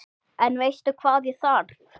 En veistu hvað ég þarf.